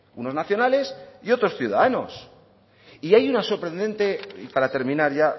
unos nacionales y otros ciudadanos y hay una sorprendente y para terminar ya